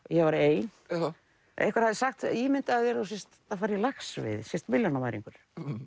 ég var ein einhver hafði sagt ímyndaðu þér að þú sért að fara í laxveiði sért milljónamæringur